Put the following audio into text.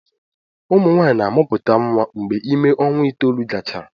Ụmụ nwaanyị na-amụpụta nwa mgbe ime ọnwa itoolu gachara